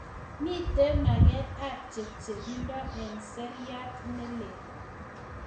Mito maget ab chepchepindo eng serait ne lel